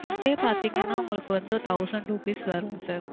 kit டே பாத்தீங்கண்ணா உங்களுக்கு வந்து thousand rupees வரும் sir.